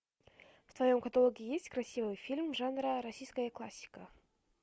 в твоем каталоге есть красивый фильм жанра российская классика